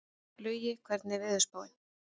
Laugi, hvernig er veðurspáin?